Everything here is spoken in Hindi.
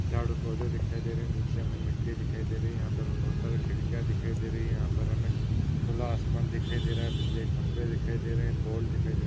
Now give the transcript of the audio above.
झाड़ और पौधे दिखाई दे रहे है। नीचे हमे मिट्टी दिखाई दे रही है। यहां पर हमे बहुत सारी खिड़कियां दिखाई दे रही है। यहां पर हमे खुला आसमान दिखाई दे रहा है। बिल्ले खंभे दिखाई दे रहे है। पोल दिखाई दे रहे है।